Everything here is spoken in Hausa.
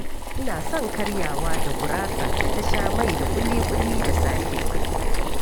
Ina son karyawa da gurasa da ta sha mai da ƙuli-ƙuli da safe.